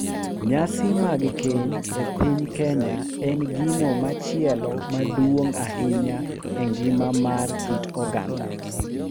Nyasi mag keny e piny Kenya en gino machielo maduong’ ahinya e ngima mar kit oganda,